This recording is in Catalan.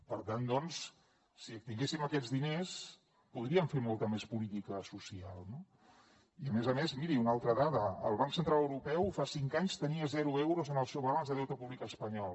per tant doncs si tinguéssim aquests diners podríem fer molta més política social no i a més a més miri una altra dada el banc central europeu fa cinc anys tenia zero euros en el seu balanç de deute públic espanyol